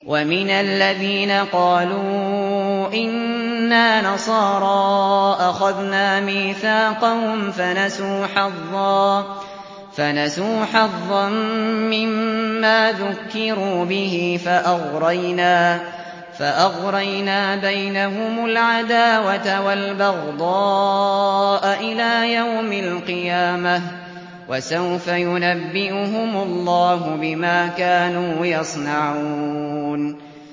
وَمِنَ الَّذِينَ قَالُوا إِنَّا نَصَارَىٰ أَخَذْنَا مِيثَاقَهُمْ فَنَسُوا حَظًّا مِّمَّا ذُكِّرُوا بِهِ فَأَغْرَيْنَا بَيْنَهُمُ الْعَدَاوَةَ وَالْبَغْضَاءَ إِلَىٰ يَوْمِ الْقِيَامَةِ ۚ وَسَوْفَ يُنَبِّئُهُمُ اللَّهُ بِمَا كَانُوا يَصْنَعُونَ